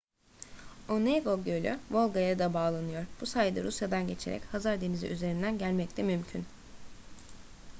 onega gölü volga'ya da bağlanıyor bu sayede rusya'dan geçerek hazar denizi üzerinden gelmek de mümkün